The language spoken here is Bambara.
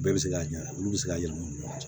Bɛɛ bɛ se k'a ɲɛ olu bɛ se k'a yɛlɛma